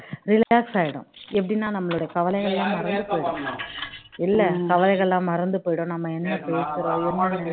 relax ஆகிடும் எப்படின்னா நம்மளுடைய கவலைகள் எல்லாம் மறந்து போயிடும் இல்ல கவலைகள் எல்லாம் மறந்து போயிடும் நம்ம என்ன போசுறோம் என்ன நினைக்கிறோம்